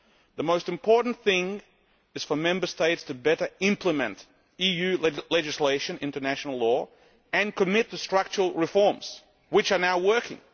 The most important thing is for Member States to better implement EU legislation and international law and commit to structural reforms which are now working.